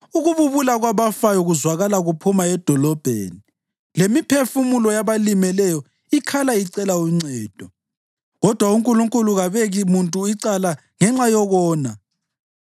Ukububula kwabafayo kuzwakala kuphuma edolobheni, lemiphefumulo yabalimeleyo ikhala icela uncedo. Kodwa uNkulunkulu kabeki muntu icala ngenxa yokona.